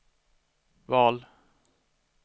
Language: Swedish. val